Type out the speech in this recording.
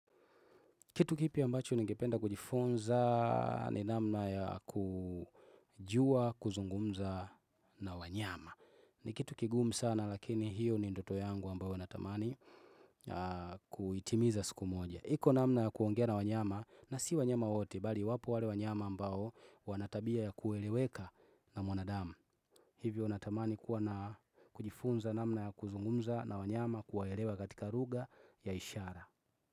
Kitu kipya ambacho ningependa kujifunza ni namna ya kujua, kuzungumza na wanyama. Ni kitu kigumu sana lakini hiyo ni ndoto yangu ambayo natamani kuitimiza siku moja. Iko namna ya kuongea na wanyama na si wanyama wote, bali wapo wale wanyama ambayo wanatabia ya kueleweka na mwanadamu. Hivyo natamani kuwa na kujifunza namna ya kuzungumza na wanyama kuwaelewa katika lugha ya ishara.